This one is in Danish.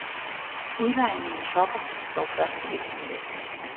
Udlejningen topper dog først i eftermiddag.